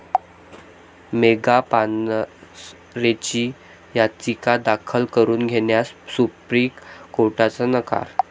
मेघा पानसरेंची याचिका दाखल करून घेण्यास सुप्रीम कोर्टाचा नकार